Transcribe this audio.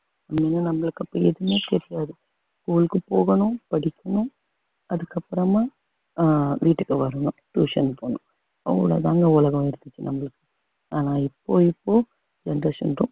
உண்மையா நம்மளுக்கு அப்ப எதுவுமே தெரியாது school க்கு போகணும் படிக்கணும் அதுக்கப்புறமா ஆஹ் வீட்டுக்கு வரணும் tuition போகணும் அவ்வளவுதாங்க உலகம் இருந்துச்சு நம்மளுக்கு ஆனா இப்போ இப்போ generation ரொ~